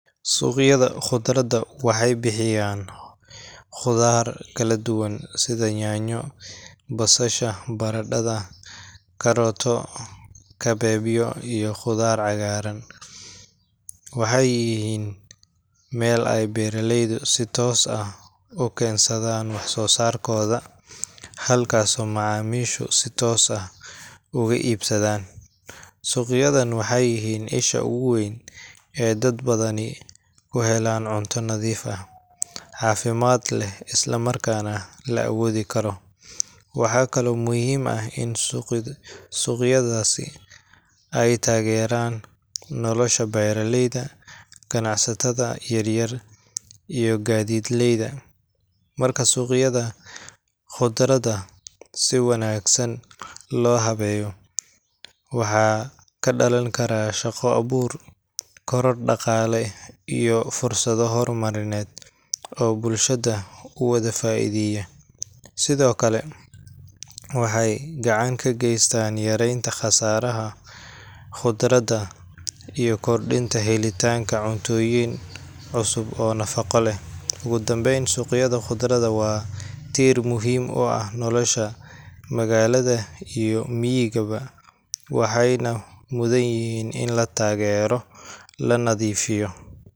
Suuqyada khudradda waxay bixiyaan khudaar kala duwan sida yaanyo, basasha, barandhada, kaarooto, kabeebyo, iyo khudaarta cagaaran. Waxay yihiin meel ay beeraleydu si toos ah u keensadaan wax-soosaarkooda, halkaasoo macaamiishu si toos ah uga iibsadaan. Suuqyadan waxay yihiin isha ugu weyn ee dad badani ku helaan cunto nadiif ah, caafimaad leh, isla markaana la awoodi karo. Waxaa kaloo muhiim ah in suuqyadaasi ay taageeraan nolosha beeraleyda, ganacsatada yar yar, iyo gaadiidleyda. Marka suuqyada khudradda si wanaagsan loo habeeyo, waxaa ka dhalan kara shaqo-abuur, koror dhaqaale, iyo fursado horumarineed oo bulshada u wada faa’iideeya. Sidoo kale, waxay gacan ka geystaan yareynta khasaaraha khudradda iyo kordhinta helitaanka cuntooyin cusub oo nafaqo leh. Ugu dambeyn, suuqyada khudradda waa tiir muhiim u ah nolosha magaalada iyo miyigaba – waxayna mudan yihiin in la taageero, la nadiifiyo.